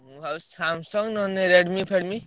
ମୁଁ ଭାବୁଚି ନହେଲେ Samsung, Redmi ଫେଡ଼ମି।